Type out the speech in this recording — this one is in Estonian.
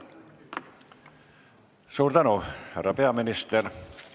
Suur tänu, härra peaminister!